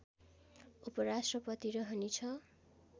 उपराष्ट्रपति रहने छ